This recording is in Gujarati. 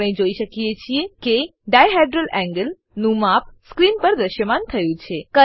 આપણે જોઈ શકીએ છીએ કે ડાયહેડ્રલ એન્ગલ નું માપ સ્ક્રીન પર દ્રશ્યમાન થયું છે